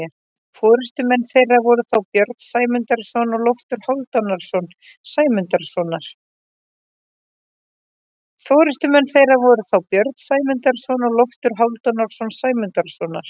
Forystumenn þeirra voru þá Björn Sæmundarson og Loftur Hálfdanarson Sæmundarsonar.